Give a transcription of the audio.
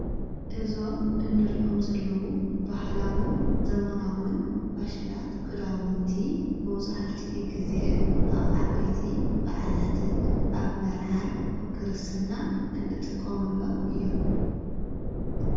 እዞም እንርእኦም ዘለዉ ባህላዉን ዘመናውን ፋሽናት ክዳውንቲ መውዙሕቲኡ ጊዜ ኣብ ዓበቲ በዕላት፣ ኣብ መርዓን፣ ኣብ ክርስትናን እንጥቆምሎም እዮም።